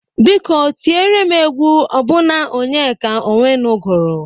Biko tiere m egwu ọbụna Onyeka Ọnwenu gụrụ!